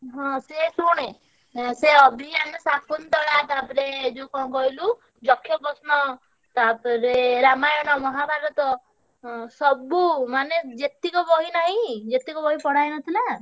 ହଁ ସେ ଶୁଣେ ସେ ଅଭି and ଶକୁନ୍ତଳା ତାପରେ ଯୋଉ କଣ କହିଲୁ, ଯକ୍ଷପ୍ରଶ୍ନ ତାପରେ ରାମାୟଣ ମହାଭାରତ ସବୁ ମାନେ ଯେତିକ ବହି ନାହିଁ ଯେତିକ ବାହି ପଢା ହେଇନଥିଲା,